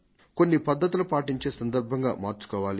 కొన్ని పద్ధతులు పాటించే సందర్భంగా మార్చుకోవాలి